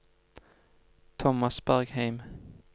Thomas Bergheim